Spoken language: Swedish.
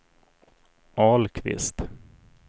Ahlqvist